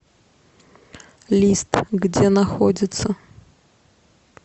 лист где находится